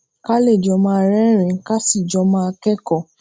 ká lè jọ máa rérìnín ká sì jọ máa kékọ̀ọ́